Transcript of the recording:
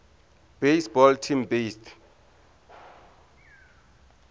baseball team based